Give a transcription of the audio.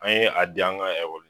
An ye a di an ka